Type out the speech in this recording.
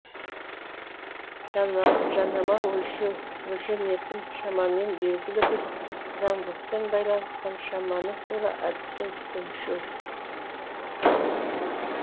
жанама өлшеу өлшенетін шамамен белгілі бір заңдылықпен байланысқан шаманы тура әдіспен өлшеу